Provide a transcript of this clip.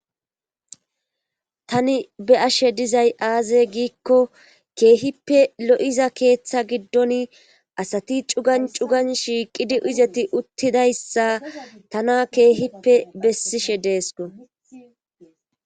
tani be ashe dizay aaze giikko keehippe lo7iza keeththa giddon asati cugan cugan shiiqidi izeti uttidayssa tana keehippe bessishe deesko